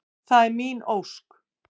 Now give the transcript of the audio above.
Það er mín ósk.